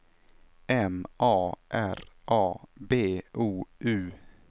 M A R A B O U